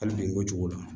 Hali bi ko cogo la